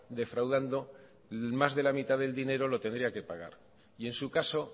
defraudando más de la mitad del dinero lo tendría que pagar y en su caso